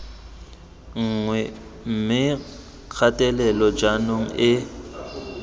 nngwe mme kgatelelo jaanong e